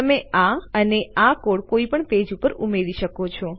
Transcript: તો તમે આ અને આ કોડ કોઇપણ પેજ પર ઉમેરી શકો છો